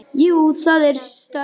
Jú, það er stökk.